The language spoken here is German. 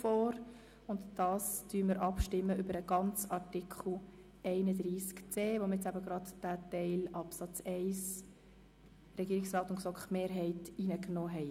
Nun stimmen wir über den ganzen Artikel 31c (neu) ab, von dem wir soeben den Absatz 1 gemäss Regierungsrat und GSoK-Mehrheit angenommen haben.